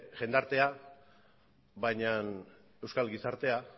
jendartea baina euskal gizartea